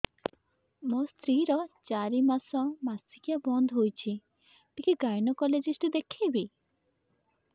ମୋ ସ୍ତ୍ରୀ ର ଚାରି ମାସ ମାସିକିଆ ବନ୍ଦ ହେଇଛି ଟିକେ ଗାଇନେକୋଲୋଜିଷ୍ଟ ଦେଖେଇବି